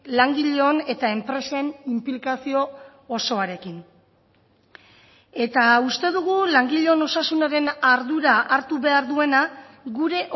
langileon eta enpresen inplikazio osoarekin eta uste dugu langileon osasunaren ardura hartu behar duena gure